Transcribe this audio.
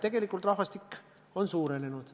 Tegelikult on rahvaarv suurenenud.